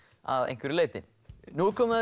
að einhverju leyti nú er komið að